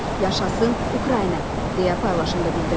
Yaşasın Ukrayna, deyə paylaşımda bildirilir.